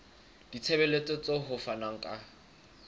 ditshebeletso tseo ho fanweng ka